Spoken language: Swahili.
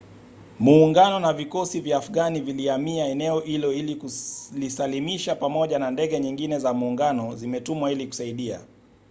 muungano na vikosi vya afghani vilihamia eneo hilo ili kulisalimisha pamoja na ndege nyingine za muungano zimetumwa ili kusaidia